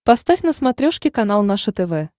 поставь на смотрешке канал наше тв